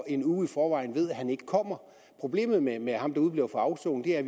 en uge i forvejen ved at han ikke kommer problemet med ham der udebliver fra afsoning er at